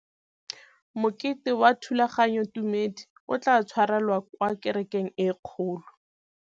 Mokete wa thulaganyôtumêdi o tla tshwarelwa kwa kerekeng e kgolo.